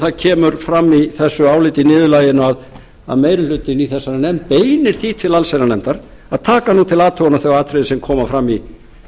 það kemur fram í þessu áliti niðurlaginu að meiri hlutinn í þessari nefnd beinir því til allsherjarnefndar að taka nú til athugunar þau atriði sem koma fram í